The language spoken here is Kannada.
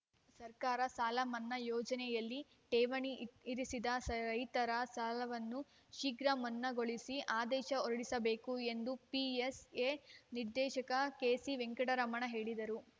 ಸರ್ಕಾರ ಸಾಲ ಮನ್ನಾ ಯೋಜನೆಯಲ್ಲಿ ಠೇವಣಿ ಇ ಇರಿಸಿದ ರೈತರ ಸಾಲವನ್ನೂ ಶೀಘ್ರ ಮನ್ನಾಗೊಳಿಸಿ ಆದೇಶ ಹೊರಡಿಸಬೇಕು ಎಂದು ಪಿಎಸ್‌ಎ ನಿರ್ದೇಶಕ ಕೆಸಿ ವೆಂಕಟರಮಣ ಹೇಳಿದರು